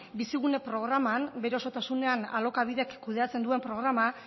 bizigune programan bere osotasunean alokabidek kudeatzen duen programa